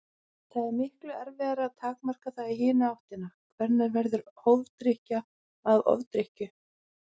Það er miklu erfiðara að takmarka það í hina áttina: Hvenær verður hófdrykkja að ofdrykkju?